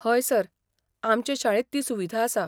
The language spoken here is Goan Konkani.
हय सर, आमचे शाळेंत ती सुविधा आसा.